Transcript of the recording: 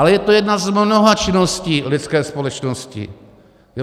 Ale je to jedna z mnoha činností lidské společnosti.